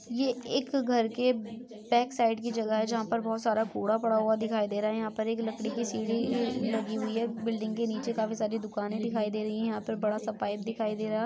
ये एक घर के बैकसाइड की जगह है जहां पर बहुत सारा कूड़ा पड़ा हुआ दिखाई दे रहा है यहां पर एक लकड़ी की सीढ़ी लगी हुई है बिल्डिंग के नीचे काफी सारी दुकानें दिखाई दे रही है यहां पर बड़ा सा पाइप दिखाई दे रहा है।